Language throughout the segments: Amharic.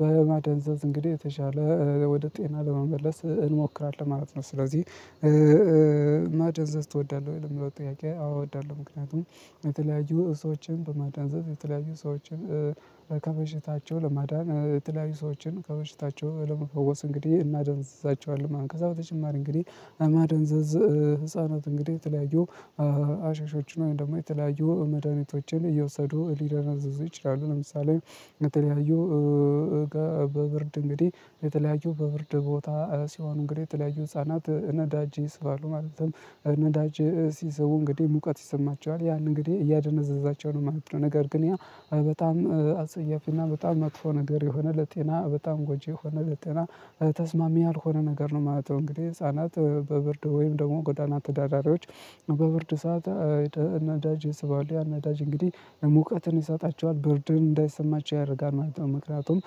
በማደንዘዝ እንግዲህ የተሻለ ወደ ጤና ለመመለስ እንሞክራለን ማለት ነው። ስለዚህ "ማደንዘዝ ትወዳለሁ ወይ?" ለሚለው ጥያቄ አዎ እወዳለ። ምክንያቱም የተለያዩ ሰዎችን በማዳንዘዝ የተለያዩ ሰዎችን ከበሽታቸው ለማዳን የተለያዩ ሰዎችን ከበሽታቸው ለመፈወስ እንግዲህ እናደነዝዛቸዋለን ማለት ነው። ከዛ በተጨማሪ እንግዲህ ማደንዘዝ ህፃናት እንግዲህ የተለያዩ ሃሺሾችን ውይም ደግሞ የተለያዩ መድሃኒቶችን እየወሰዱ ሊደነዝዙ ይችላሉ። ለምሳሌ የተለያዩ በብርድ እንግዲህ የተለያዩ በብርድ ቦታ ሲሆኑ እንግዲህ የተለያዩ ህፃናት ነዳጅ ይስባሉ፤ ማለትም ነዳጅ ሲስቡ እንግዲህ ሙቀት ይሰማቸዋል። ያን እንግዲህ እያደነዘዛቸው ነው ማለት ነው፤ ነገር ግን ያ በጣም አጸያፊና በጣም መጥፎ ነገር የሆነ ለጤና በጣም ጎጂ የሆነ ለጤና ተስማሚ ያልሆነ ነገር ነው ማለት ነው። እንግዲህ ህፃናት በብርድ ወይም ደግሞ ጎዳና ተዳዳሪዎች በብርድ ሰዓት ነዳጅ ይስባሉ ያ ነዳጅ እንግዲህ ሙቀትን ይሰጣቸዋል ብርድን እንዳይሰማቸው ያደርጋል ማለት ነው። መክንያቱም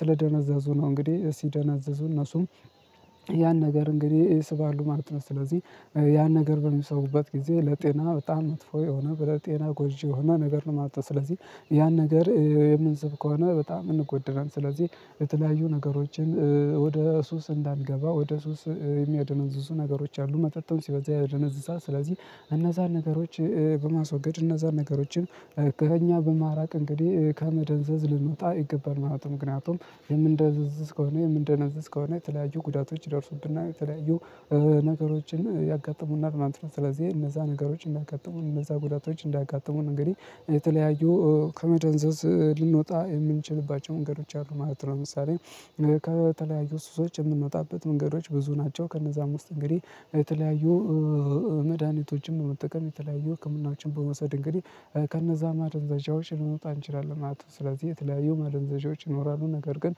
ስለደነዘዙ ነው እንግዲህ ሲደነዝዙ እነሱም ያን ነገር እንግዲህ ይስባሉ ማለት ነው። ስለዚህ ያን ነገር በሚሰሩበት ጊዜ ለጤና በጣም መጥፎ የሆነ ብረጤና ጎጂ የሆነ ነገር ነው ማለት ነው። ስለዚህ ያን ነገር የምንስብ ከሆነ በጣም እንጎዳለን። ስለዚህ የተለያዩ ነገሮችን ወደ ሱስ እንዳንገባ ወደ ሱስ የሚያደነዝዙ ነገሮች አሉ መጠጥም ሲበዛ ያደነዝዛል ስለዚህ እነዛን ነገሮች በማስወገድ እነዛን ነገሮችን ከኛ በማራቅ እንግዲህ ከመደንዘዝ ልንወጣ ይገባል ማለት ነው። ምክንያቱም የምንደነዝዝ ከሆነ የምንደነዝዝ ከሆነ የተለያዩ ጉዳቶች ይደርሱብናል፣ የተለያዩ ነገሮችን ያጋጥሙናል ማለት ነው። ስለዚህ እነዛ ነገሮች እንዳያጋጥሙን እነዛ ጉዳቶች እንዳጋጠሙን እንግዲህ የተለያዩ ከመደንዘዝ ልንወጣ የምንችልባቸው መንገዶች አሉ ማለት ነው። ምሳሌ ከተለያዩ ሱሶች የምንወጣበት መንገዶች ብዙ ናቸው። ከእነዛም ውስጥ እንግዲህ የተለያዩ መድሃኒቶችን በመጠቀም የተለያዩ ህክምናዎችን በመውሰድ እንግዲህ ከነዛ ማደንዘዣዎች ልንወጣ እንችላለን ማለት ነው። ስለዚህ የተለያዩ ማደንዘዣዎች ይኖራሉ፤ ነገር ግን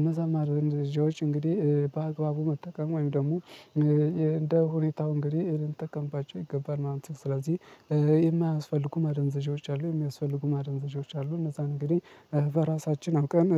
እነዛን ማደንዘዣዎች እንግዲህ በአግባቡ መጠቀም ወይም ደግሞ እንደሁኔታው እንግዲህ ልንጠቀምባቸው ይገባል ማለት ነው። ስለዚህ የማያስፈልጉ ማደንዘዣዎች አሉ፤ የሚያስፈልጉ ማደንዘዣዎች አሉ። እነዛን እንግዲህ በራሳችን አውቀን